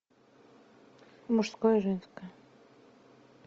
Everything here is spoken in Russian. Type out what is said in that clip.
мужское и женское